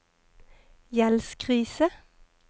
gjeldskrise